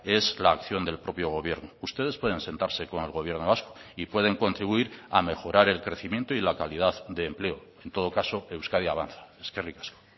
es la acción del propio gobierno ustedes pueden sentarse con el gobierno vasco y pueden contribuir a mejorar el crecimiento y la calidad de empleo en todo caso euskadi avanza eskerrik asko